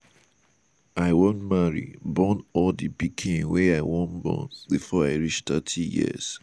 i wan marry born all di pikin wey i wan born before i reach thirty years.